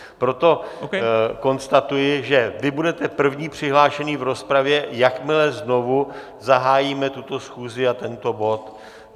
Proto konstatuji, že vy budete první přihlášený v rozpravě, jakmile znovu zahájíme tuto schůzi a tento bod.